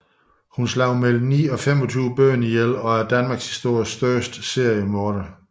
Hun slog mellem ni og 25 børn ihjel og er danmarkshistoriens største seriemorder